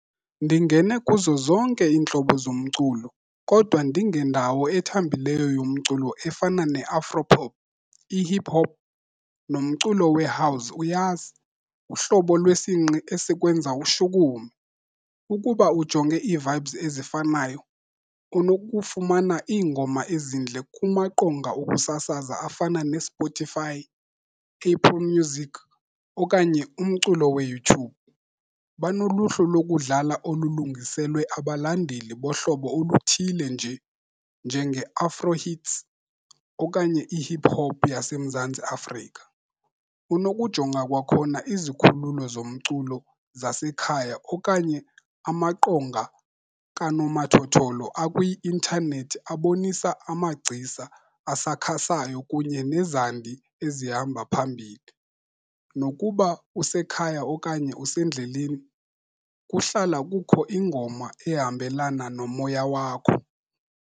Ndingene kuzo zonke iintlobo zomculo kodwa ndingendawo ethambileyo yomculo efana ne-afro pop, i-hip hop nomculo we-house uyazi uhlobo lwesingqi esikwenza ushukume. Ukuba ujonge ii-vibes ezifanayo unokufumana iingoma ezintle kumaqonga okusasaza afana neSpotify, people music okanye umculo weYouTube. Banoluhlu lokudlala olulungiselwe abalandeli bohlobo oluthile nje njenge-afro hits okanye i-hip hop yaseMzantsi Afrika. Unokujonga kwakhona izikhululo zomculo zasekhaya okanye amaqonga kanomathotholo akwi-intanethi abonisa amagcisa asakhasayo kunye nezandi ezihamba phambili. Nokuba usekhaya okanye usendleleni kuhlala kukho ingoma ehambelana nomoya wakho.